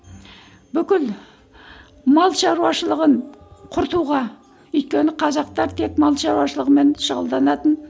бүкіл мал шаруашылығын құртуға өйткені қазақтар тек мал шаруашылығымен шұғылданатын